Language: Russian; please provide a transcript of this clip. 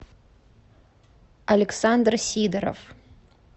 александр сидоров